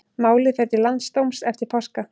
Málið fer til landsdóms eftir páska